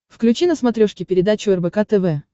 включи на смотрешке передачу рбк тв